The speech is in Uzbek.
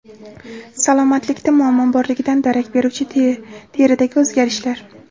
Salomatlikda muammo borligidan darak beruvchi teridagi o‘zgarishlar.